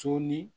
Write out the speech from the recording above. Sɔɔni